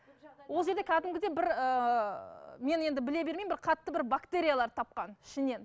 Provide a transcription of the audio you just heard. ол жерде кәдімгідей бір ііі мен енді біле бермеймін бір қатты бір бактериялар тапқан ішінен